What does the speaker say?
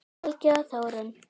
Helgi og Þórunn.